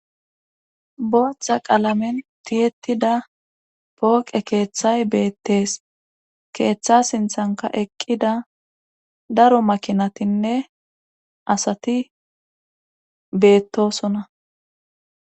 Booththa qaalamen tiyettida pooqe keeththay beettees keeththa sinthankka eqqida daro makinatinne asati beettosona.